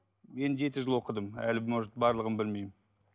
мен жеті жыл оқыдым әлі может барлығын білмеймін